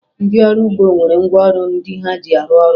Ndị ọrụ ugbo nwere ngwaọrụ ndị ha ji arụ ọrụ